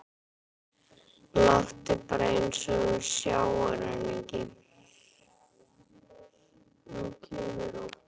Láttu bara eins og þú sjáir hana ekki.